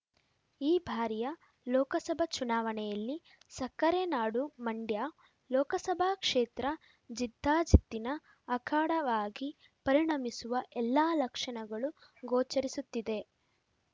ಈ ಬಾರಿಯ ಲೋಕಸಭಾ ಚುನಾವಣೆಯಲ್ಲಿ ಸಕ್ಕರೆ ನಾಡು ಮಂಡ್ಯ ಲೋಕಸಭಾ ಕ್ಷೇತ್ರ ಜಿದ್ದಾಜಿದ್ದಿನ ಅಖಾಡವಾಗಿ ಪರಿಣಮಿಸುವ ಎಲ್ಲಾ ಲಕ್ಷಣಗಳು ಗೋಚರಿಸುತ್ತಿದೆ